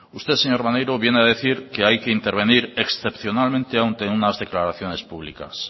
usted señor maneiro viene a decir que hay que intervenir excepcionalmente ante unas declaraciones públicas